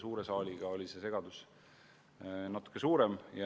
Suure saali puhul oli segadus natuke suurem.